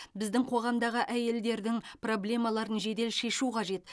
біздің қоғамдағы әйелдердің проблемаларын жедел шешу қажет